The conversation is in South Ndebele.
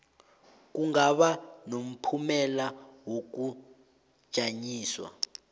kungaba nomphumela wokujanyiswa